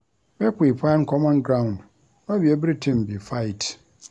Make we find common ground, no be everytin be fight.